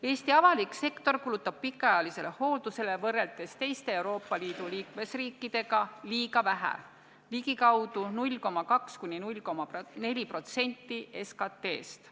Eesti avalik sektor kulutab pikaajalisele hooldusele võrreldes teiste Euroopa Liidu liikmesriikidega liiga vähe, ligikaudu 0,2–0,4% SKT-st.